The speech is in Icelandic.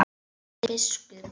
Jón biskup!